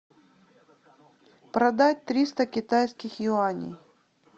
продать триста китайских юаней